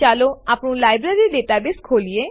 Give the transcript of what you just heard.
ચાલો આપણું library database ખોલીએ